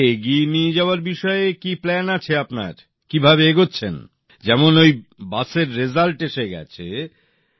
আর একে এগিয়ে নিয়ে যাওয়ার বিষয়ে কী পরিকল্পনা আছে আপনার কীভাবে এগোচ্ছেন যেমন বাসের রেজাল্ট এসে গেছে